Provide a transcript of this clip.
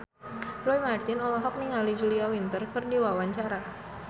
Roy Marten olohok ningali Julia Winter keur diwawancara